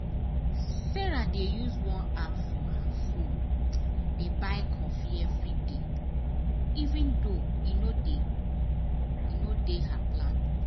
sarah dey use one app for her phone dey buy coffee every day even though e no dey e no dey her plan.